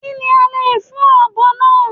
Kí ni a lè fún ọ̀bọ náà.